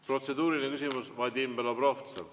Protseduuriline küsimus, Vadim Belobrovtsev.